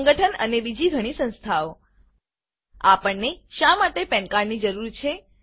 સંગઠન અને બીજી ઘણી સંસ્થાઓ આપણને શા માટેPAN cardપેન કાર્ડની જરૂર છે